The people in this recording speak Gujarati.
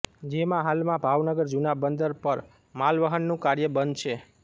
જેમાં હાલમાં ભાવનગર જૂના બંદર પર માલવહનનું કાર્ય બંધ છે